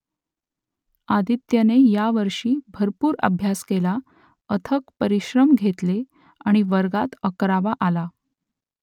आदित्यने यावर्षी भरपूर अभ्यास केला अथक परिश्रम घेतले आणि वर्गात अकरावा आला